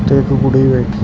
ਇਕ ਕੁੜੀ ਬੈਠੀ ਏ --